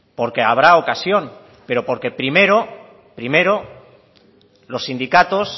porque habrá ocasión pero porque primero primero los sindicatos